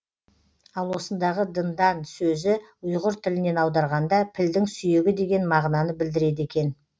ал осындағы дындан сөзі ұйғыр тілінен аударғанда пілдің сүйегі деген мағынаны білдіреді екен